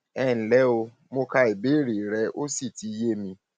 ẹ ǹlẹ o mo ka ìbéèrè rẹ ó sì ti yé mi